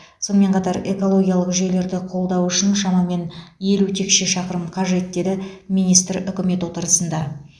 сонымен қатар экологиялық жүйелерді қолдау үшін шамамен елу текше шақырым қажет деді министр үкімет отырысында